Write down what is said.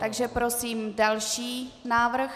Takže prosím další návrh.